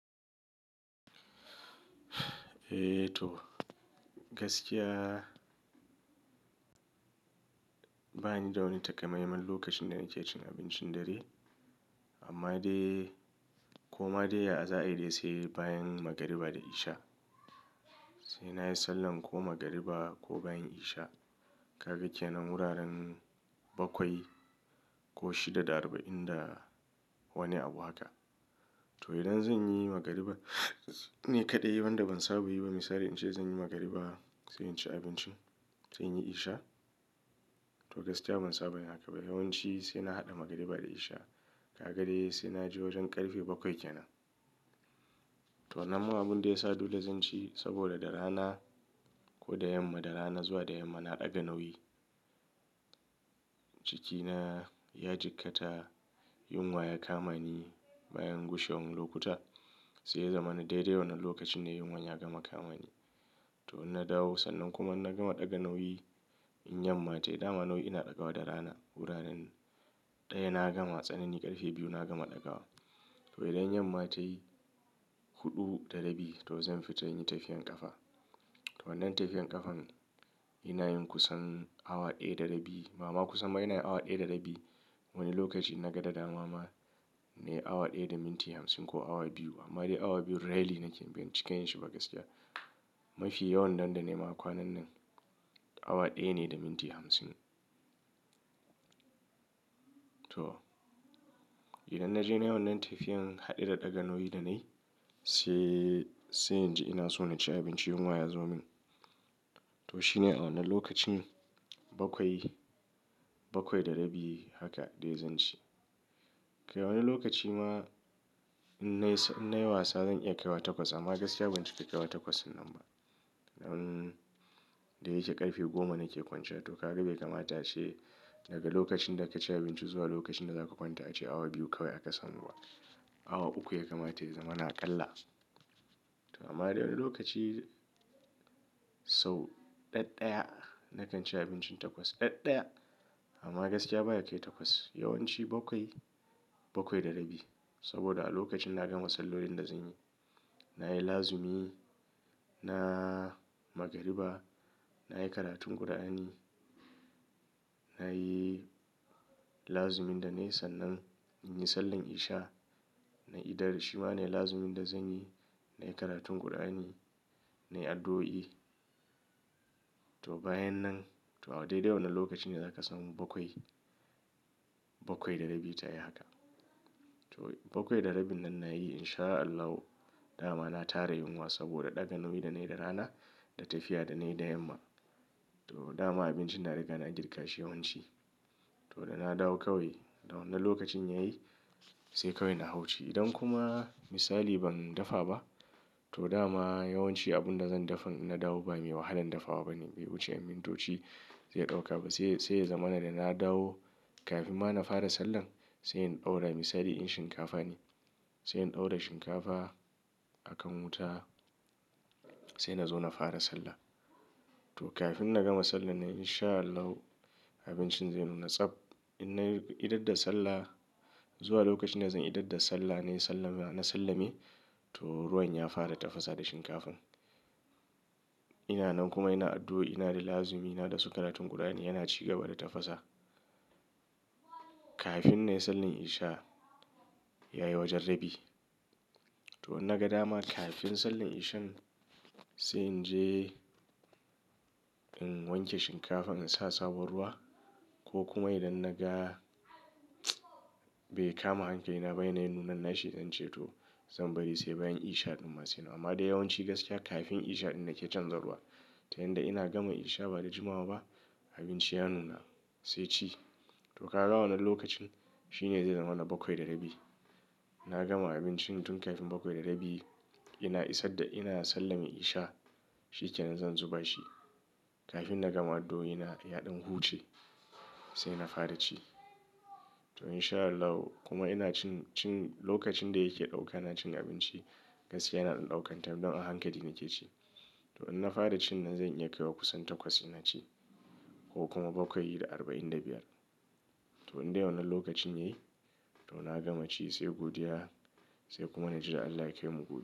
Eh to gaskiya bani da wani takamaiman lokacin da nake cin abincin dare. Amma dai ko ma dai a za'a yarda sai bayan magariba da isha. Sai nayi sallan ko magariba ko bayan isha. Ka ga kenan wuraren bakwai ko shida da arba'in da wani abu haka. To idan zanyi magariba ni kaɗai wanda ban saba yi ba misali in ce zan yi magariba, sai in ci abinci, sai in yi isha. To gaskiya ban saba yi haka ba. Yawanci sai na haɗa magariba da isha. Ka ga dai sai naje wajen ƙarfe bakwai kenan. To nan ma abun da ya sa dole zan ci saboda da rana ko da yamma, da rana zuwa da yamma na ɗaga nauyi. Cikina ya jikkata, yunwa ya kamani bayan gushewan lokuta, sai ya zama na daidai wannan lokacin ne yunwa ya gama kamani. To in na dawo sannan kuma na gama ɗaga nauyi in yamma tayi. Da ma nauyi ina ɗaga wa da rana. Wuraren ɗaya na gama, tsanen yi ƙarfe biyu na gama ɗaga wa. To idan yamma tayi huɗu da rabi to zan fita in yi tafiyar ƙafa. To wannan tafiyar ƙafan ina yin kusan awa ɗaya da rabi. Mama kusan ma ina yi awa ɗaya da rabi. Wani lokaci na ga da dama ma in nayi awa ɗaya da minti hamsin ko awa biyu. Amma dai awa biyu rarely nake bin cikayen shi ba gaskiya. Mafi yawan nan da nema kwanan nan awa ɗaya ne da minti hamsin. To idan na je na yona tafiyan haɗe da ɗaga nauyi da na yi, sai, sai in je ina so na ci abinci yunwa ya zo min. To shine a wannan lokaci bakwai, bakwai da rabi haka dai zan ci. Kai a wani lokaci ma in na yi wasa zan iya kai wa takwas. Amma gaskiya ban ci ka kai wa takwas nan ba. Nan da yake ƙarfe goma nake kwance. To ka ga bai kamata yace daga lokacin da ka ci abinci zuwa lokacin da zaka kwanta yace awa biyu kawai aka samu ba. Awa uku ya kamata ya zama naƙalla. To amma dai wani lokaci so ɗaɗaya na kan ci abincin takwas. Ɗaɗaya. Amma gaskiya baya kai takwas. Yawanci bakwai, bakwai da rabi. Saboda a lokacin na gama sallolin da zan yi, nayi lazimi na magariba, nayi karatun ƙur'ani, nayi lazimin da na yi sannan in yi sallan isha. Na idar shima ne lazimin da zan yi, nayi karatun ƙur'ani, nayi addu'o'i. To bayan nan to a daidai wannan lokacin ne zaka samu bakwai, bakwai da rabi tayi haka. To bakwai da rabi nan nayi in sha Allahu da ma na tara yunwa saboda ɗaga nauyin da nayi da rana da tafiya da nayi da yamma. To da ma abinci na riga na girka shi yawanci. To da na dawo kawai wannan lokacin yayi sai kawai na hau ci. Idan kuma misali ban dafa ba to dama yawanci abun da zan dafa in na dawo ba mai wahalan dafawa bane. Bai wuce mintoci zai ɗauka ba. Sai, sai ya zama na da na dawo kafin ma na fara sallan sai in ɗaura misali in shinkafa ne. Sai in ɗaura shinkafa a kan wuta sai na zo na fara sallah. To kafin na gama sallah na in sha Allahu abincin zai nuna tsab. In nayi idadda sallah zuwa lokacin da zan yi idadda sallah nayi sallama, na sallame to ruwan ya fara tafasa da shinkafan. Ina nan kuma ina addu'o'i, ina da lazimi na da su karatun ƙur'ani yana cigaba da tafasa. Kafin na yi sallin isha ya yi wajen rabi. To in na ga dama kafin sallin ishan sai in je in wanke shinkafan in sa sabon ruwa ko kuma idan naga bai kama hankali na ba ina yin nuna nashi zan ce to zan bari sai bayan isha ɗumma sai nan. Amma dai yawanci gaskiya kafin isha ɗin nake canzarwa. Ta yanda ina gama isha ba da jimawa ba abinci ya nuna sai ci. To ka ga wannan lokacin shine zai zama na bakwai da rabi. Na gama abincin tun kafin bakwai da rabi. Ina isar da ina sallan isha shi kenan zan zuba shi kafin na gama addu'o'ina ya ɗan huce sai na fara ci. To in sha Allahu kuma ina cin, cin lokacin da yake ɗauka na cin abinci gaskiya yana ɗaukar time don a hankali nake ci. To in na fara ci nan zan iya kai wa kusan takwas ina ci ko kuma bakwai da arba'in da biyar. To inda wannan lokacin yayi to na gama ci sai godiya sai kuma naji da Allah ya kai mu gobe.